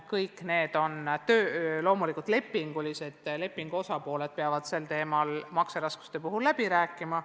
Kõik need on lepingulised suhted ning lepingu osapooled peavad makseraskuste korral ise sel teemal läbi rääkima.